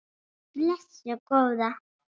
Nei, blessuð góða.